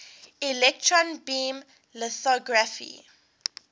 electron beam lithography